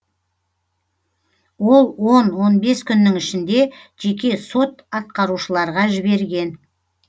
ол он он бес күннің ішінде жеке сот атқарушыларға жіберген